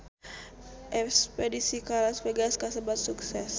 Espedisi ka Las Vegas kasebat sukses